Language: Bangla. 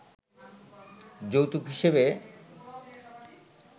যৌতুক হিসেবে